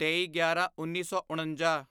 ਤੇਈਗਿਆਰਾਂਉੱਨੀ ਸੌ ਉਣੰਜਾ